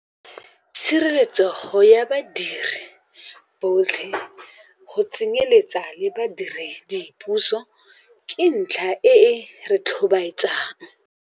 Tshireletsego ya badiri botlhe, go tsenyeletsa badiredipuso, ke ntlha e e re tlhobaetsang.